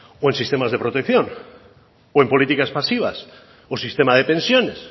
o en sistemas de protección o en políticas pasivas o sistema de pensiones